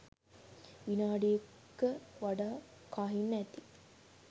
විනාඩි ක වඩා කහින්න ඇති